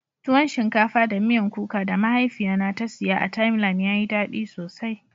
Tuwon shinkafa da miyan kuka da mahaifiya na ta siya a "timeline " ya yi dadi sosai.